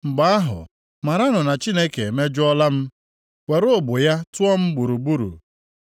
mgbe ahụ, maranụ na Chineke emejọọla m, were ụgbụ ya tụọ m gburugburu.